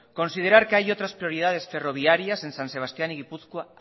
considerar que hay otras prioridades ferroviarias en san sebastián y gipuzkoa